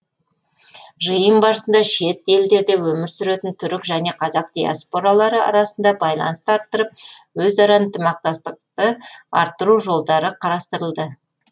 жиын барысында шет елдерде өмір сүретін түрік және қазақ диаспоралары арасында байланысты арттырып өзара ынтымақтастықты арттыру жолдары қарастырылды